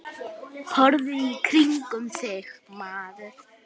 Horfðu í kringum þig, maður.